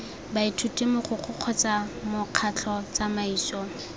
baithuti mogokgo kgotsa mokgatlho tsamaiso